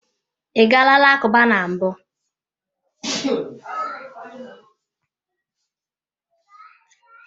I gaala alakụba na mbụ?